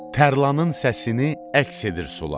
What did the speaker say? Tərlanın səsini əks edir sular.